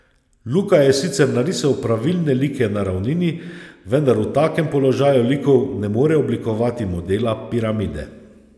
Luka je sicer narisal pravilne like na ravnini, vendar v takem položaju likov ne more oblikovati modela piramide.